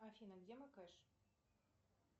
афина где мой кэш